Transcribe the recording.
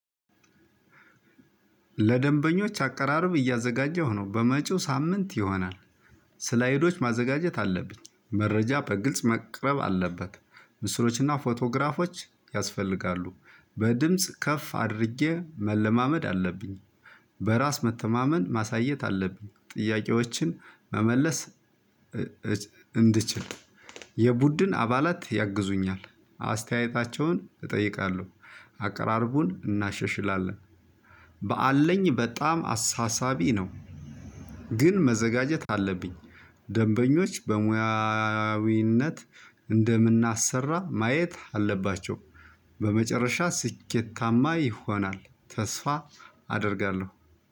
ለደንበኞች አቀራረብ እያዘጋጀሁ ነው። በመጪው ሳምንት ይሆናል። ስላይዶች ማዘጋጀት አለብኝ። መረጃ በግልጽ መቅረብ አለበት። ምስሎችና ፎቶግራፎች ያስፈልጋሉ። በድምጽ ከፍ አድርጌ መለማመድ አለብኝ። በራስ መተማመን ማሳየት አለብኝ። ጥያቄዎችን መመለስ ስላይዶች ማዘጋጀት አለብኝ። መረጃ በግልጽ መቅረብ አለበት። ምስሎችና ፎቶግራፎች ያስፈልጋሉ። በድምጽ ከፍ አድርጌ መለማመድ አለብኝ። ግን መዘጋጀት አለብኝ። ደንበኞች በሙያዊነት እንደምናሰራ ማየት አለባቸው። በመጨረሻ ስኬታማ ይሆናል። ተስፋ አደርጋለሁ።